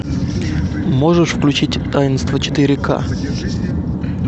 можешь включить таинство четыре ка